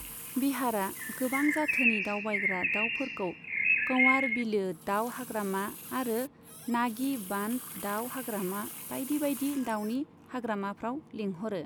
बिहारआ गोबां जाथोनि दावबायग्रा दाउफोरखौ कंवार बिलो दाउ हाग्रामा आरो नागी बान्ध दाउ हाग्रामा बायदि बायदि दाउनि हाग्रामाफ्राव लेंहरो।